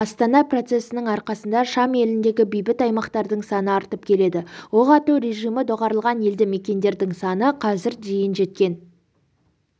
астана процесінің арқасында шам еліндегі бейбіт аймақтардың саны артып келеді оқ ату режимі доғарылған елді мекендердің саны қазір дейін жеткен